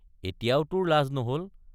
এতিয়াও তোৰ লাজ নহল।